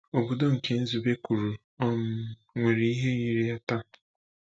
Obodo nke Nzube kwuru ọ um nwere ihe yiri ya taa?